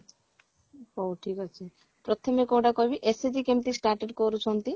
ହଉ ଠିକ ଅଛି ପ୍ରଥମେ କଉଟା କହିବି SHG କେମତି started କରୁଛନ୍ତି